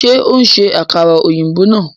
Ṣe o n ṣe àkàrà òyìnbó náà